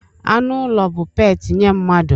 Anụ ụlọ bụ peeti nye mmadụ.